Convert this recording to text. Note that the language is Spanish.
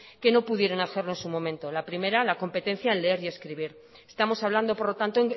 que no pudieron hacerlo en su momento la primera la competencia en leer y escribir estamos hablando por lo tanto